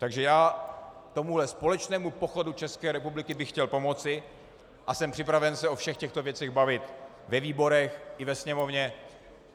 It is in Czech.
Takže já tomuhle společnému pochodu České republiky bych chtěl pomoci a jsem připraven se o všech těchto věcech bavit ve výborech i ve Sněmovně.